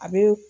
A bɛ